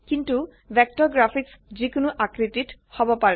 কিন্তু vector graphics যি কোনো আকৃতিত হব পাৰে